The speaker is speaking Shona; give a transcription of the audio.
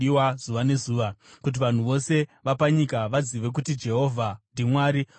kuti vanhu vose vapanyika vazive kuti Jehovha ndiMwari, uye kuti hakuna mumwe.